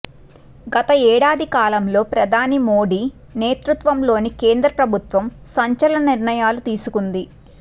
గత ఏడాది కాలంలో ప్రధాని మోడీ నేతృత్వంలోని కేంద్ర ప్రభుత్వం సంచలన నిర్ణయాలు తీసుకుంది